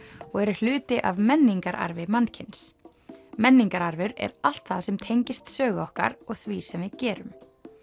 og eru hluti af menningararfi mannkyns menningararfur er allt það sem tengist sögu okkar og því sem við gerum